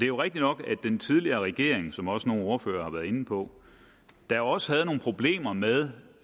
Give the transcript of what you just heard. jo rigtigt nok at den tidligere regering som også nogle ordførere har været inde på da også havde nogle problemer med